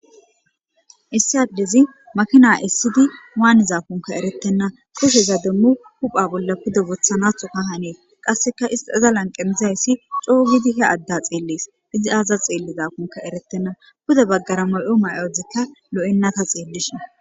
Issi adezi makina essidi wanizakonkka eretena kusheza demo huphe bolla woththanathoka hannes qaseka iza lanqen dizayssi coo gidi he adda xelees. izi azas xellizankka eretena pude bagara mayo mayozikka lo'ena ta xeelishin.